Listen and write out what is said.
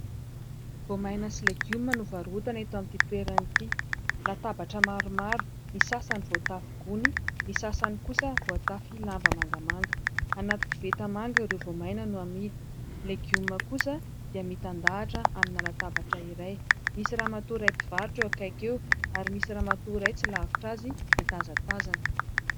Voamaina sy legioma no varotana eto amin'ity toerana ity. Latabatra maromaro ny sasany voatafy gony ; ny sasany kosa voatafy lamba mangamanga. Anaty koveta manga ireo voamaina no amidy ; legioma kosa dia mitandahatra amin'ny latabatra iray. Misy ramatoa iray mpivarotra eo akaiky eo ary misy ramatoa iray tsy lavitra azy mitazatazana.